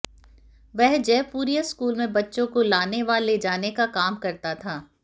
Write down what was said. वह जयपुरिया स्कूल मेें बच्चों को लाने व ले जाने का काम करता था